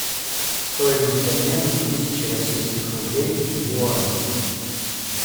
стоимость обмена тысячи российских рублей в юани